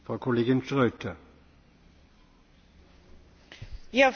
Herr Präsident, sehr geehrter Herr Kommissar, liebe Kolleginnen, liebe Kollegen!